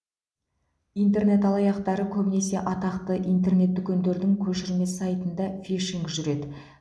интернет алаяқтары көбінесе атақты интернет дүкендердің көшірме сайтында фишинг жүреді